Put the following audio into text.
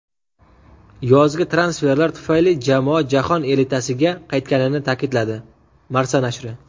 yozgi transferlar tufayli jamoa jahon elitasiga qaytganini ta’kidladi – "Marca" nashri.